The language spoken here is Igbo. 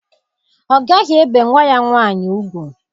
Ọ gaghị ebe nwa ya nwaanyị ugwu.